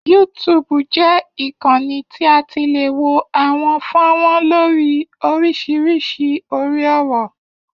YouTube jẹ́ ìkanni tí a ti lè wo àwọn fọ́nrán lórí oríṣiríṣi orí-ọ̀rọ̀.